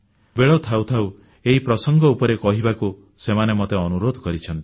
ବେଳ ଥାଉ ଥାଉ ଏହି ପ୍ରସଙ୍ଗ ଉପରେ କହିବାକୁ ସେମାନେ ମୋତେ ଅନୁରୋଧ କରିଛନ୍ତି